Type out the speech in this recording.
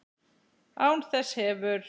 Án þess hefur